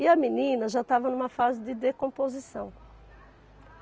E a menina já estava numa fase de decomposição.